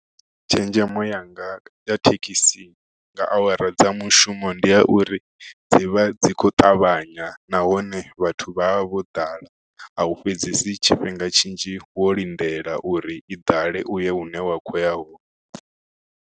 Tshenzhemo yanga ya thekhisi nga awara dza mushumo ndi ya uri dzi vha dzi kho ṱavhanya nahone vhathu vha vha vho ḓala a u fhedzesi tshifhinga tshinzhi wo lindela uri i ḓale uye hune wa kho ya hone.